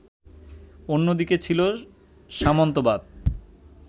অন্যদিকে ছিল সামন্তবাদ